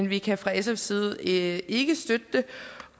vi kan fra sfs side ikke ikke støtte det